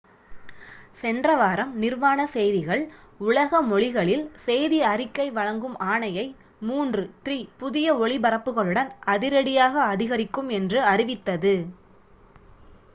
சென்ற வாரம் நிர்வாண செய்திகள் உலக மொழிகளில் செய்தி அறிக்கை வழங்கும் ஆணையை மூன்று three புதிய ஒளிபரப்புகளுடன் அதிரடியாக அதிகரிக்கும் என்று அறிவித்தது